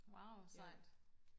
wauw sejt